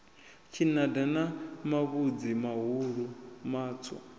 tshinada na mavhudzi mahulu matswu